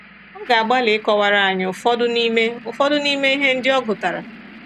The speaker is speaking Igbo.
Ọ ga-agbalị ịkọwara anyị ụfọdụ n’ime ụfọdụ n’ime ihe ndị ọ gụtara.